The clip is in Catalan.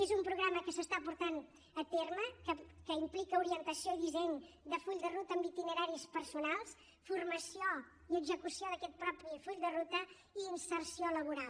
és un programa que s’està portant a terme que implica orientació i disseny de full de ruta amb itineraris personals formació i execució d’aquest mateix full de ruta i inserció laboral